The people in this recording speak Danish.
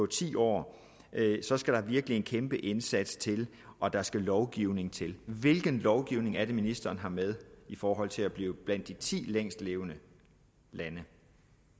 ti år så skal der virkelig en kæmpe indsats til og der skal lovgivning til hvilken lovgivning er det ministeren har med i forhold til at blive blandt de ti længstlevende